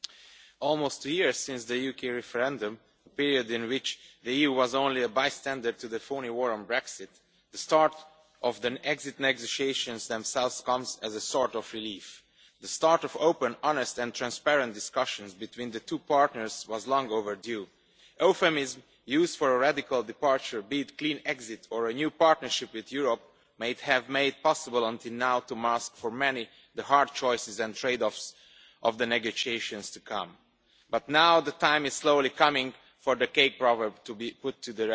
Mr President, almost a year since the UK referendum, a period in which the EU was only a bystander to the phony war on Brexit, the start of the exit negotiations themselves comes as a sort of relief. The start of open, honest and transparent discussions between the two partners was long overdue. Euphemisms used for a radical departure, be it a clean exit' or a new partnership with Europe' might have made possible until now to mask for many the hard choices and trade offs of the negotiations to come. But now the time is slowly coming for the cake proverb to be put